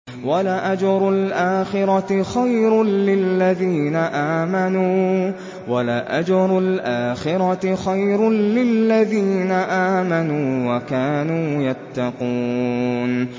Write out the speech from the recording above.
وَلَأَجْرُ الْآخِرَةِ خَيْرٌ لِّلَّذِينَ آمَنُوا وَكَانُوا يَتَّقُونَ